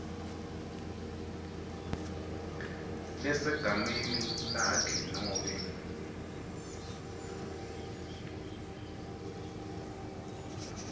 lesegameni lakhe nobe